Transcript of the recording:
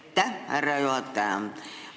Aitäh, härra juhataja!